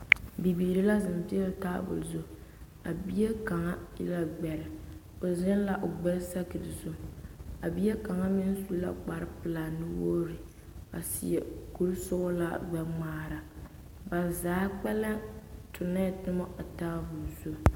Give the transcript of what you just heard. Biiri la zeŋ peɛle taabol zu, a bie kaŋ e gbɛre, o zeŋ la o gbɛre sakiri zu, a bie kaŋ meŋ su la kpare pelaa nu-wogiri a seɛ kuri sɔgelaa gbɛ-ŋmaara, ba zaa kpɛlɛm tonɛɛ toma a taabol zu.